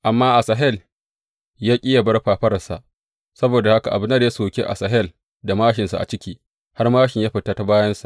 Amma Asahel ya ƙi yă bar fafararsa; saboda haka Abner ya soki Asahel da māshinsa a ciki; har māshin ya fita ta bayansa.